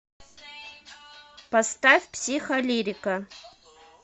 поставь психолирика